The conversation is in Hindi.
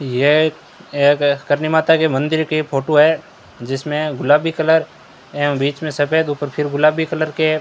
यह एक करणी माता के मंदिर के फोटो है जिसमें गुलाबी कलर एवं बीच में सफेद ऊपर फिर गुलाबी कलर के --